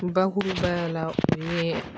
Bakurubaya la o ye